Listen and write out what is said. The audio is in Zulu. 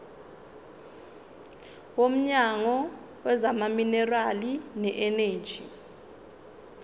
womnyango wezamaminerali neeneji